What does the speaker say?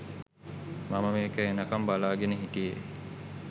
මම මේක එනකම් බලාගෙන හිටියේ